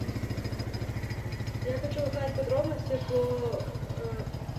я хочу узнать подробности по